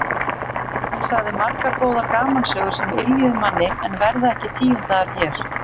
Hún sagði margar góðar gamansögur sem yljuðu manni en verða ekki tíundaðar hér.